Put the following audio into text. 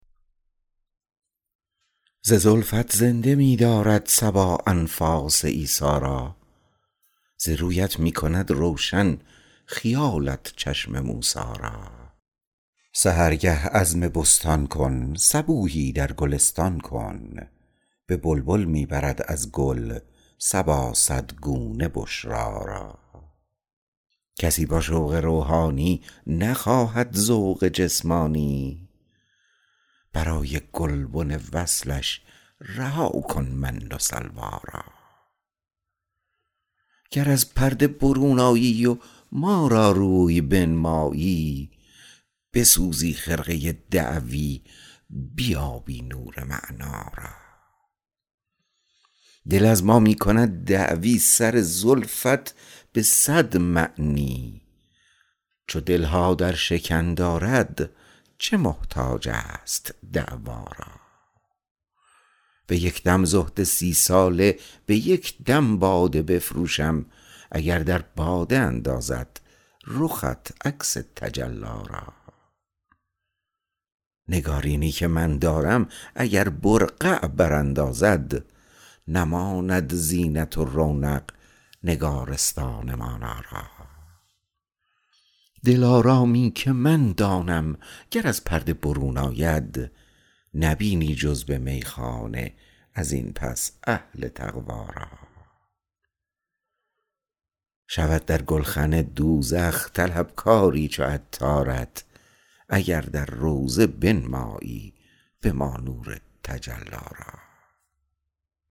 ز زلفت زنده می دارد صبا انفاس عیسی را ز رویت می کند روشن خیالت چشم موسی را سحرگه عزم بستان کن صبوحی در گلستان کن به بلبل می برد از گل صبا صد گونه بشری را کسی با شوق روحانی نخواهد ذوق جسمانی برای گلبن وصلش رها کن من و سلوی را گر از پرده برون آیی و ما را روی بنمایی بسوزی خرقه دعوی بیابی نور معنی را دل از ما می کند دعوی سر زلفت به صد معنی چو دل ها در شکن دارد چه محتاج است دعوی را به یک دم زهد سی ساله به یک دم باده بفروشم اگر در باده اندازد رخت عکس تجلی را نگارینی که من دارم اگر برقع براندازد نماند زینت و رونق نگارستان مانی را دلارامی که من دانم گر از پرده برون آید نبینی جز به میخانه ازین پس اهل تقوی را شود در گلخن دوزخ طلب کاری چو عطارت اگر در روضه بنمایی به ما نور تجلی را